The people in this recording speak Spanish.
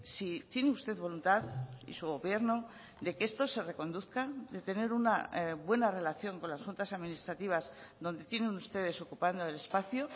si tiene usted voluntad y su gobierno de que esto se reconduzca de tener una buena relación con las juntas administrativas donde tienen ustedes ocupando el espacio